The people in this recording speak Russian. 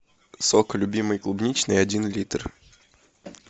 сок любимый клубничный один литр